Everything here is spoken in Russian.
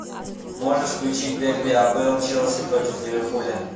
можешь включить дерби апл челси против ливерпуля